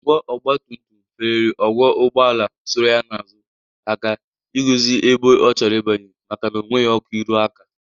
Ọgwọ ọgbatumtum fereri ọgwọ ụgbọala soro ya n'azu aka igozi ebe ọ chọrọ ibanye makana o nweghi ọkụ ịrụ aka.